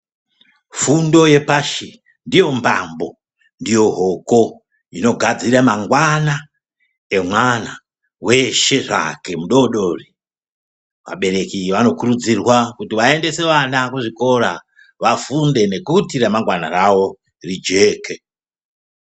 Fundo yepashi ndiyo mbambo ndiyo hoko inogadzira mangwana emwana weshe zvake mudodori. Vabereki vanokurudzirwa kuti vaendese vana kuzvikora vafunde nekuti ramangwana ravo rijeke.